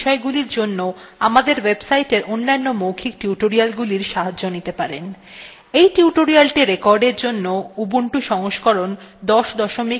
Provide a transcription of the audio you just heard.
আপনি চাইলে এই বিষয়গুলির জন্য আমাদের ওয়েবসাইটের অন্যান্য মৌখিক টিউটোরিয়ালগুলির সাহায্য নিতে পারেন